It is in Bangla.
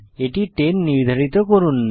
এটি 10 নির্ধারিত করুন